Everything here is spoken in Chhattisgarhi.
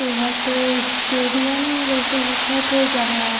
ये ह तो स्टेडियम जैसे दिखत हे जहाँ--